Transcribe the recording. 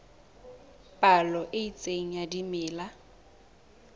palo e itseng ya dimela